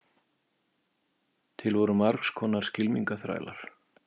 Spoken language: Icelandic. til voru margs konar skylmingaþrælar